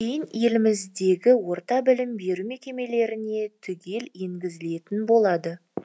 кейін еліміздегі орта білім беру мекемелеріне түгел енгізілетін болады